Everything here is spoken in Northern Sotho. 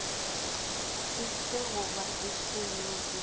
efe goba efe yeo e